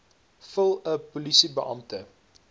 vul n polisiebeampte